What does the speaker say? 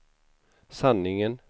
sanningen